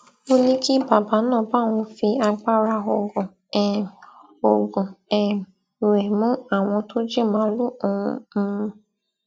ó ní kí bàbá náà bá òun fi agbára oògùn um oògùn um rẹ mú àwọn tó jí màálùú òun um